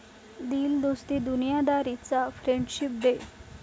दिल दोस्ती दुनियादारी'चा friendship day